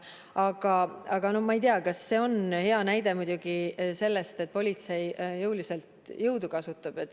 Aga ma muidugi ei tea, kas see on hea näide sellest, et politsei jõudu kasutab.